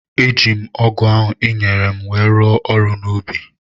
Eji m ọgu ahu i nyere m wéé rụọ ọrụ n’ubi